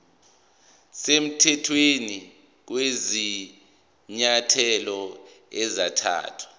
semthethweni kwezinyathelo ezathathwa